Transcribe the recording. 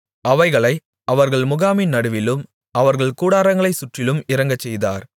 அவைகளை அவர்கள் முகாமின் நடுவிலும் அவர்கள் கூடாரங்களைச் சுற்றிலும் இறங்கச்செய்தார்